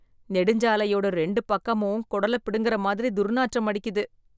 நெடுஞ்சாலையோட ரெண்டு பக்கமும் குடலப் புடுங்கிற மாதிரி துர்நாற்றம் அடிக்குது!